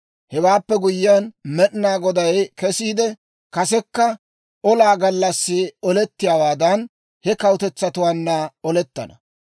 Hewaappe guyyiyaan Med'inaa Goday kesiide, kasekka olaa gallassi olettiyaawaadan, he kawutetsatuwaanna olettana.